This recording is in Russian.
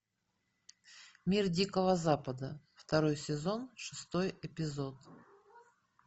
мир дикого запада второй сезон шестой эпизод